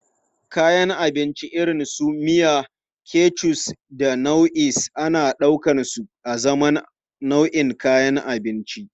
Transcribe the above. Kayan abinci irin su miya, ketchup da mayonnaise ana ɗaukarsu azaman nau'in kayan abinci.